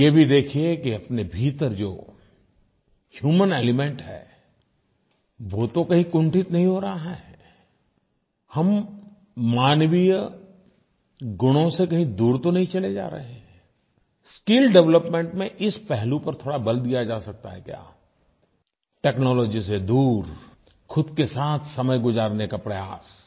लेकिन ये भी देखिये कि अपने भीतर जो ह्यूमन एलिमेंट है वो तो कहीं कुंठित नहीं हो रहा है हम मानवीय गुणों से कहीं दूर तो नहीं चले जा रहे हैं स्किल डेवलपमेंट में इस पहलू पर थोड़ा बल दिया जा सकता है क्या टेक्नोलॉजी से दूर ख़ुद के साथ समय गुज़ारने का प्रयास